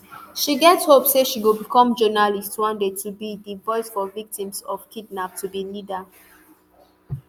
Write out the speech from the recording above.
she get hope say she go become journalist one day to be di voice for victims of kidnap to be leader